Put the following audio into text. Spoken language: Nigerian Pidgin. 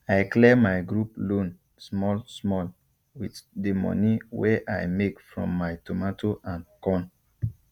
i clear my group loan small small with the moni wey i make from my tomato and corn